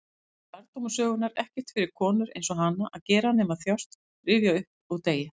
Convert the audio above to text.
Þetta var lærdómur sögunnar: ekkert fyrir konur-einsog-hana að gera nema þjást, rifja upp, og deyja.